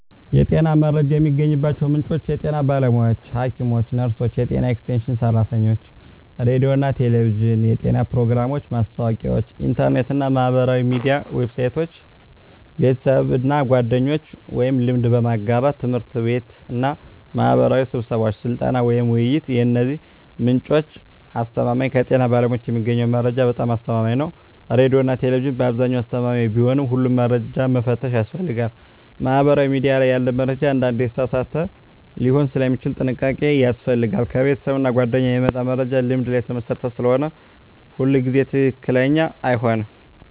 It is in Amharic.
የጤና መረጃ የሚገኝባቸው ምንጮች የጤና ባለሙያዎች (ሐኪሞች፣ ነርሶች፣ የጤና ኤክስቴንሽን ሰራተኞች) ሬዲዮና ቴሌቪዥን (የጤና ፕሮግራሞች፣ ማስታወቂያዎች) ኢንተርኔት እና ማህበራዊ ሚዲያ ዌብሳይቶች) ቤተሰብና ጓደኞች (ልምድ በመጋራት) ት/ቤትና ማህበራዊ ስብሰባዎች (ስልጠና፣ ውይይት) የእነዚህ ምንጮች አስተማማኝነት ከጤና ባለሙያዎች የሚገኘው መረጃ በጣም አስተማማኝ ነው ሬዲዮና ቴሌቪዥን በአብዛኛው አስተማማኝ ቢሆንም ሁሉንም መረጃ መፈተሽ ያስፈልጋል ማህበራዊ ሚዲያ ላይ ያለ መረጃ አንዳንዴ የተሳሳተ ሊሆን ስለሚችል ጥንቃቄ ያስፈልጋል ከቤተሰብና ጓደኞች የሚመጣ መረጃ ልምድ ላይ የተመሰረተ ስለሆነ ሁሉ ጊዜ ትክክለኛ አይሆንም